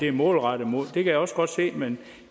er målrettet mod det kan jeg også godt se men